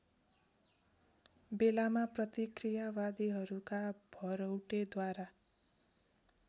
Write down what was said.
बेलामा प्रतिक्रियावादीहरूका भरौटेद्वारा